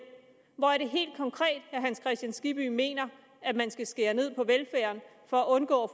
hvor er det helt konkret at herre hans kristian skibby mener at man skal skære ned på velfærden for at undgå at